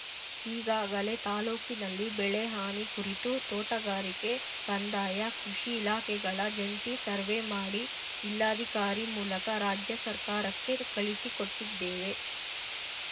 ಈಗಾಗಲೇ ತಾಲೂಕಿನಲ್ಲಿ ಬೆಳೆ ಹಾನಿ ಕುರಿತು ತೋಟಗಾರಿಕೆ ಕಂದಾಯ ಕೃಷಿ ಇಲಾಖೆಗಳ ಜಂಟಿ ಸರ್ವೆ ಮಾಡಿ ಜಿಲ್ಲಾಧಿಕಾರಿ ಮೂಲಕ ರಾಜ್ಯ ಸರ್ಕಾರಕ್ಕೆ ಕಳಿಸಿ ಕೊಟ್ಟಿದ್ದೇವೆ